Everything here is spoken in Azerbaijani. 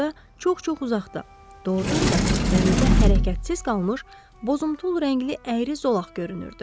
Orada çox-çox uzaqda, doğurdan da dənizdə hərəkətsiz qalmış bozuntul rəngli əyri zolaq görünürdü.